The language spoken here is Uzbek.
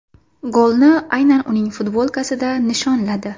Golni aynan uning futbolkasida nishonladi.